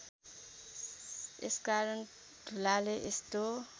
यसकारण धुलाले यस्तो